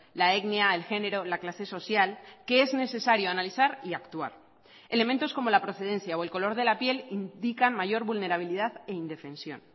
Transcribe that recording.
la etnia el género la clase social que es necesario analizar y actuar elementos como la procedencia o el color de la piel indican mayor vulnerabilidad e indefensión